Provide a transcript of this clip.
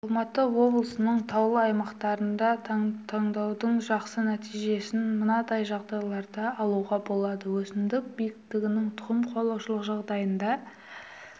алматы облысының таулы аймақтарында таңдаудың жақсы нәтижесін мынадай жағдайларда алуға болады өсімдік биіктігінің тұқым қуалаушық жағдайында